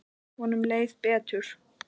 Honum leið betur.